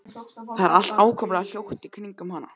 Það er allt ákaflega hljótt í kringum hana.